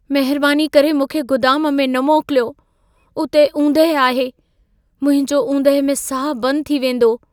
महिरबानी करे मूंखे गुदाम में न मोकिलियो। उते ऊंदहि आहे। मुंहिंजो ऊंदहि में साहु बंदि थी वेंदो।